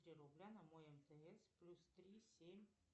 три рубля на мой мтс плюс три семь